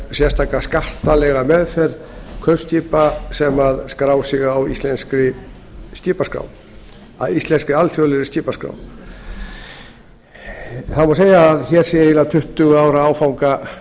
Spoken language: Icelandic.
sérstaka skattalega meðferð kaupskipa sem skrá sig á íslenskri alþjóðlegri skipaskrá það má segja að nú sé tuttugu ára áfanga